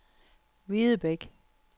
Videbæk